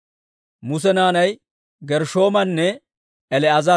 Muse naanay Gershshoomanne El"eezera.